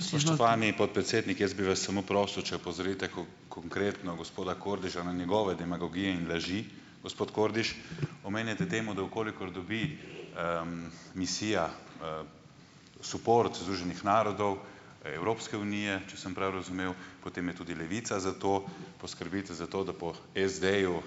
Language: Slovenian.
Spoštovani podpredsednik, jaz bi vas samo prosil, če opozorite konkretno gospoda Kordiša na njegove demagogije in laži. Gospod Kordiš, omenjate temo, da v kolikor dobi, misija, suport Združenih narodov, Evropske unije, če sem prav razumel, potem je tudi Levica za to. Poskrbite za to, da po SD-ju,